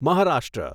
Maharashtra